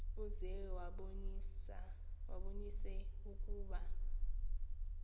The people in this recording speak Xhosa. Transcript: uze ubabonise ukuba